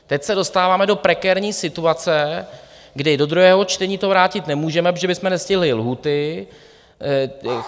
Teď se dostáváme do prekérní situace, kdy do druhého čtení to vrátit nemůžeme, protože bychom nestihli lhůty.